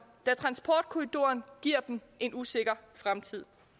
da transportkorridoren giver dem en usikker fremtid